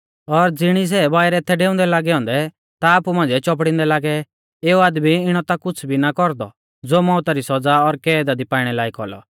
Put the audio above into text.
और ज़िणी सै बाइरै थै डेउंदै लागै औन्दै ता आपु मांझ़िऐ चौपड़िंदै लागै एऊ आदमी इणौ ता कुछ़ भी ना कौरदौ ज़ो मौउता री सौज़ा और कैदा दी पाइणै लायक औलौ